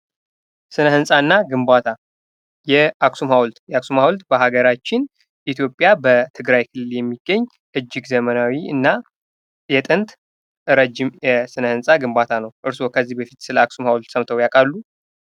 ስነ-ህንፃና ግንባታ፤ የአክሱም ሀውልት፦ የአክሱም ሀውልት በሀገራችን ኢትዮጵያ በትግራይ ክልል የሚገኝ እጅግ ዘመናዊ እና የጥንት ረዥም የስነ-ህንፃ ግንባታ ነው። እርስዎ ከዚህ በፊት ሰለ አክሱም ሀውልት ሰምተው ያውቃሉ?